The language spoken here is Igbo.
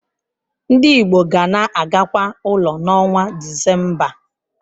Ndị Igbo ga na-agakwa ụlọ n'ọnwa Disemba.